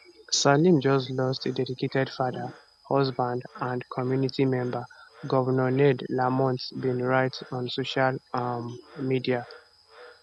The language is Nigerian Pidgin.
salem just lost a dedicated father husband and community member govnor ned lamont bin write on social um media